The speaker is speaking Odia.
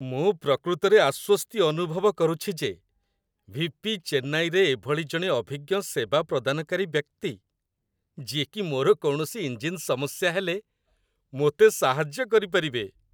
ମୁଁ ପ୍ରକୃତରେ ଆଶ୍ୱସ୍ତି ଅନୁଭବ କରୁଛି ଯେ ଭି.ପି. ଚେନ୍ନାଇରେ ଏଭଳି ଜଣେ ଅଭିଜ୍ଞ ସେବା ପ୍ରଦାନକାରୀ ବ୍ୟକ୍ତି, ଯିଏକି ମୋର କୌଣସି ଇଞ୍ଜିନ୍ ସମସ୍ୟା ହେଲେ ମୋତେ ସାହାଯ୍ୟ କରିପାରିବେ